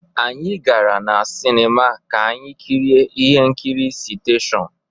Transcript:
Anyị gara na Sinima ka anyị kirie ihe nkiri Citation